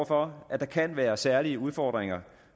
for at der kan være særlige udfordringer